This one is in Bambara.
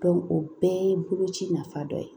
o bɛɛ ye boloci nafa dɔ ye